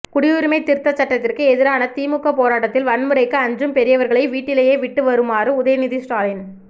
குடியுரிமை திருத்தச் சட்டத்திற்கு எதிரான திமுக போராட்டத்தில் வன்முறைக்கு அஞ்சும் பெரியவர்களை வீட்டிலேயே விட்டு வருமாறு உதயநிதி ஸ்டாலின்